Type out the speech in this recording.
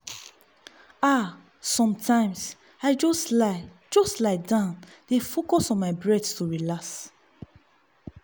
ah sometimes i just lie just lie down dey focus on my breath to relax.